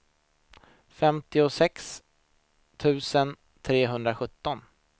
femtiosex tusen trehundrasjutton